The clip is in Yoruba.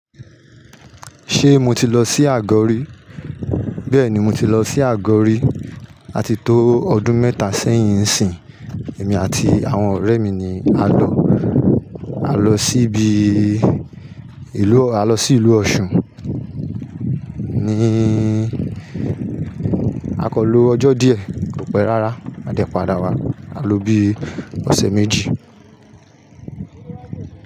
Ṣe mo ti lọ sí Àgọ́ rí? Bẹ́ẹ̀ni, mo ti lọ sí Àgọ́ rí à ti tó ọdún mẹ́ta sẹ́yìn ń sìn. Èmi àti àwọn ọ̀rẹ́ mi ni a lọ. A lọ síbi ìlú-- a lọ sí ìlú Ọ̀ṣun. Ni a kan lo ọjọ́ díẹ̀, kò pẹ́ rárá, a dẹ̀ padà wá. A lo bí ọ̀sẹ̀ méjì.